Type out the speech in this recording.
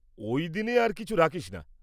ওই দিনে আর কিছু রাখিস না।